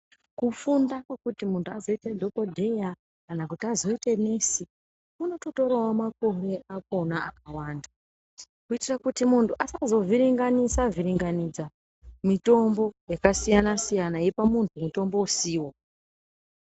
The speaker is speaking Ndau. Kufunda kwekuti munhu azoita dhokodheya kana kuti azoite nesi kunotorawo makore akona akawanda kuitira kuti muntu asazovhiringanidza-vhiringanidza mitombo yakasiyanasiyana eipa muntu mutombo usiwo.